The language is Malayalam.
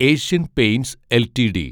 Asian Paints LTD